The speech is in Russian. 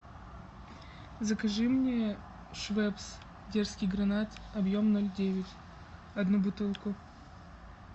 закажи мне швепс дерзкий гранат объем ноль девять одну бутылку